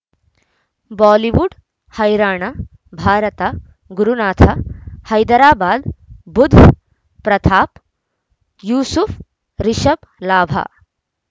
Bollywood ಹೈರಾಣ ಭಾರತ ಗುರುನಾಥ ಹೈದರಾಬಾದ್ ಬುಧ್ ಪ್ರತಾಪ್ ಯೂಸುಫ್ ರಿಷಬ್ ಲಾಭ